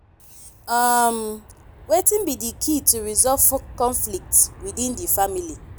um wetin be di key to resolve conflicts within di family?